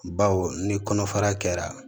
Baw ni kɔnɔfara kɛra